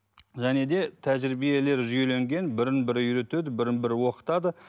және де тәжірбиелер жүйеленген бірін бірі үйретеді бірін бірі оқытады